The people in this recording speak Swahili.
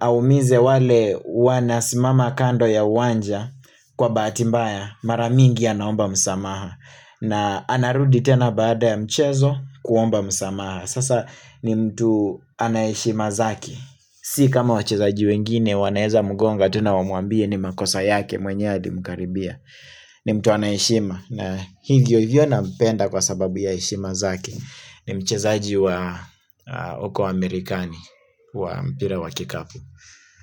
aumize wale wanasimama kando ya uwanja kwa bahati mbaya Maramingi ya naomba msamaha na anarudi tena baada ya mchezo kuomba msamaha Sasa ni mtu anayeshima zake Si kama wachezaji wengine wanaeza mgonga tena wamuambie ni makosa yake mwenyewe adi mkaribia ni mtu anayeshima na hingiyo hivyo na mpenda kwa sababu ya ishima zake ni mchezaji wa uko wa amerikani wa mpira wa kikapu.